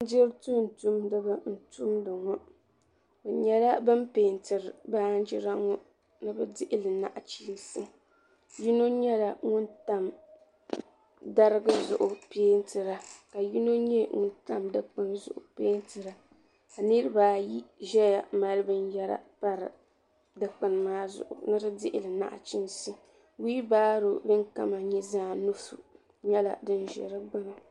Garo garo ka bin piɛlli pilli difiɛya di ba ata n pa di zuɣu di ba ayi nyɛla zaɣa vakahili ka zaɣa yini nyɛ zaɣa tankpaɣu ka bin vakahili pa goro maa zuɣu duu maa ni ka di nyɛ zaɣa piɛlli ka diɣi zaya diɣi sabinli.